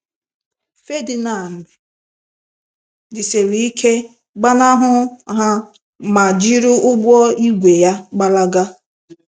Ferdinand jisiri ike gbanahụ ha ma jiri ụgbọ ígwè ya gbalaga.